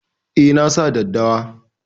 Eh, nasa daddawa